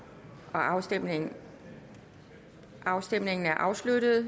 afstemningen afstemningen er afsluttet